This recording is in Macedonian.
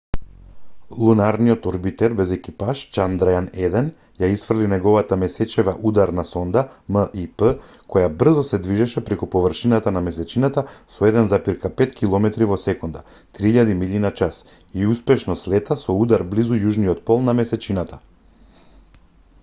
лунарниот орбитер без екипаж чандрајан-1 ја исфрли неговата месечева ударна сонда мип која брзо се движеше преку површината на месечината со 1,5 километри во секунда 3000 милји на час и успешно слета со удар близу јужниот пол на месечината